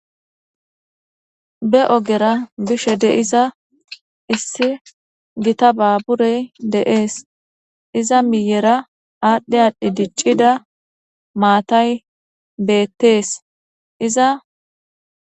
be ogera bishe de iza issi gita baaburey deees iza miyera aadhdhe aadhdhi diccida maatay beettees iza